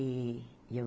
E eu